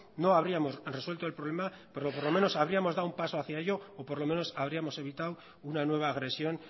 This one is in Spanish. no habríamos resuelto el problema pero por lo menos habríamos dado un paso hacia ello o por lo menos habríamos evitado una nueva agresión